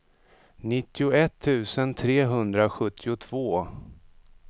nittioett tusen trehundrasjuttiotvå